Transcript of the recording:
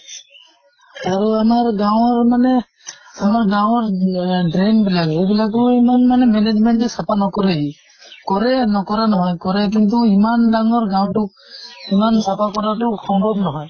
আৰু আমাৰ গাঁৱৰ মানে আমাৰ গাঁৱৰ আহ drain বিলাক, সেই বিলাকো ইমান মানে management এ চাফা নকৰেহি। কৰে, নকৰা নহয়, কৰে। কিন্তু ইমান ডাঙৰ গাওঁটোক ইমান চাফা কৰাতো সম্ভব নহয়।